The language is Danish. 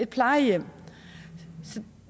plejehjem